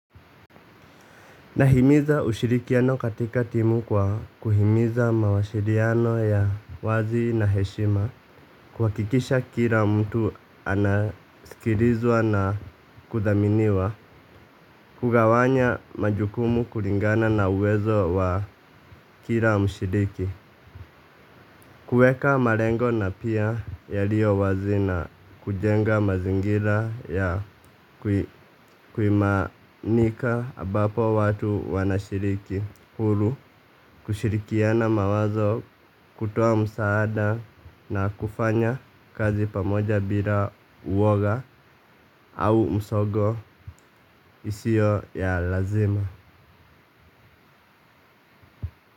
Nahimiza ushirikiano katika timu kwa kuhimiza mawasiliano ya wazi na heshima kuhakikisha kila mtu anaskilizwa na kudhaminiwa. Kugawanya majukumu kulingana na uwezo wa kila mshiriki. Kueka malengo na pia yaliyo wazi na kujenga mazingira ya kuimanika ambapo watu wanashiriki huru kushirikiana mawazo kutoa msaada na kufanya kazi pamoja bila uwoga au msogo isio ya lazima.